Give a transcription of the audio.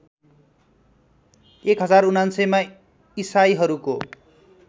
१०९९ मा इसाईहरूको